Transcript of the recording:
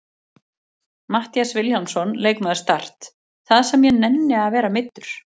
Matthías Vilhjálmsson, leikmaður Start: Það sem ég nenni að vera meiddur!